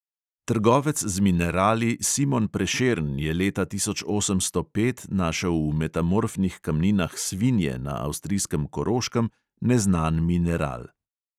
Trgovec z minerali simon prešern je leta tisoč osemsto pet našel v metamorfnih kamninah svinje na avstrijskem koroškem neznan mineral.